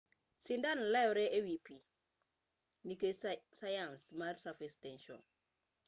sindan lewre ewi pii nikech sayans mar surface tension